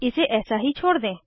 इसे ऐसा ही छोड़ दें